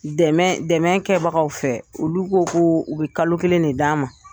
Dɛmɛ dɛmɛ kɛbagaw fɛ, olu ko ko u bɛ kalo kelen ne d' a ma.